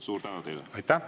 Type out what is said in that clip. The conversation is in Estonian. Suur tänu teile!